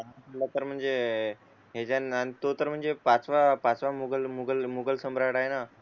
तो तर म्हणजे पाचवा पाचवा मोगल मोगल मोगल सम्राट आहे ना